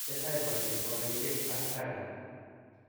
tesetai poriet nepo gaitiek ak Raqqa